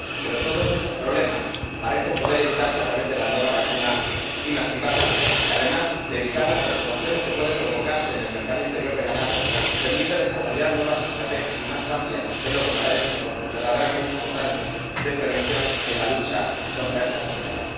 Pero todos estos problemas parecen poder evitarse a través de la nueva vacuna inactivada, que, además de evitar las perturbaciones que pueden provocarse en el mercado interior de ganado, permite desarrollar unas estrategias nuevas y más amplias que es lo verdaderamente importante de prevención en la lucha contra esta enfermedad.